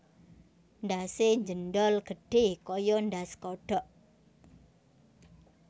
Ndhase njendhol gedhe kaya ndhas kodhok